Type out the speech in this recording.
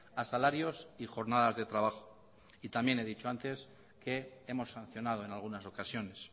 a salarios y jornadas de trabajo y también he dicho antes que hemos sancionado en algunas ocasiones